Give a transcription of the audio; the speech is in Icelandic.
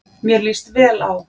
Mér líst vel á.